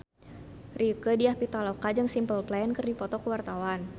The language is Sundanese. Rieke Diah Pitaloka jeung Simple Plan keur dipoto ku wartawan